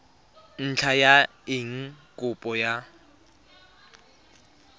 ntlha ya eng kopo ya